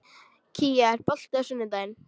Kía, er bolti á sunnudaginn?